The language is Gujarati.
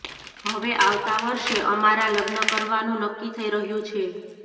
હવે આવતા વર્ષે અમારાં લગ્ન કરવાનું નક્કી થઇ રહ્યું છે